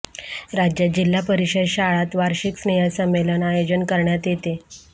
राज्यात जिल्हा परिषद शाळांत वार्षिक स्नेहसंमेलन आयोजन करण्यात येते